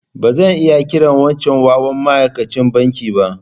Ba zan kira wancan wawan maikachin banki ba.